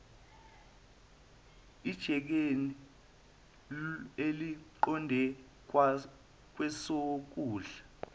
ejikeni eliqonde kwesokudla